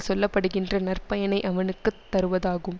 சொல்ல படுகின்ற நற்பயனை அவனுக்கு தருவதாகும்